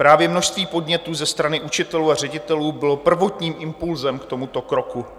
Právě množství podnětů ze strany učitelů a ředitelů bylo prvotním impulzem k tomuto kroku.